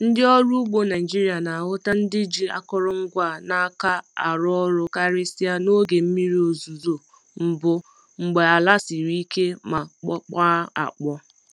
Ndị ọrụ ugbo Naịjiria na-ahụta ndị ji akụrụngwa a n’aka arụ ọrụ karịsịa n'oge mmiri ozuzo mbụ mgbe ala siri ike ma kpọkwaa akpọọ.